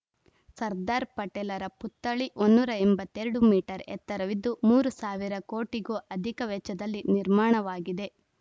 ಸರ್ದಾರ್‌ ಪಟೇಲರ ಪುತ್ಥಳಿ ನೂರ ಎಂಬತ್ತ್ ಎರಡು ಮೀಟರ್‌ ಎತ್ತರವಿದ್ದು ಮೂರು ಸಾವಿರ ಕೋಟಿಗೂ ಅಧಿಕ ವೆಚ್ಚದಲ್ಲಿ ನಿರ್ಮಾಣವಾಗಿದೆ